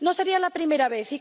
No sería la primera vez.